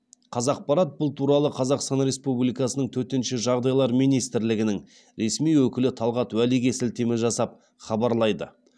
қазақпарат бұл туралы қазақстан республикасының төтенше жағдайлар министрлігінің ресми өкілі талғат уәлиге сілтеме жасап хабарлайды